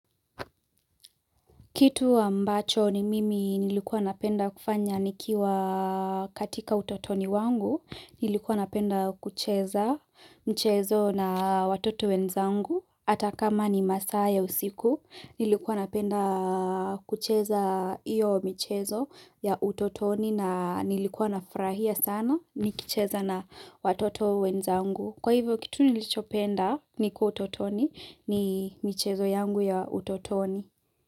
Kitu ambacho ni mimi nilikuwa napenda kufanya nikiwa katika utotoni wangu, nilikuwa napenda kucheza mchezo na watoto wenzangu. Hata kama ni masaa ya usiku, nilikuwa napenda kucheza iyo michezo ya utotoni na nilikuwa nafurahia sana nikicheza na watoto wenzangu. Kwa hivyo kitu nilichopenda nikuwa utotoni ni mchezo yangu ya utotoni.